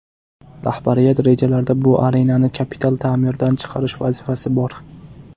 Rahbariyat rejalarida bu arenani kapital ta’mirdan chiqarish vazifasi bor.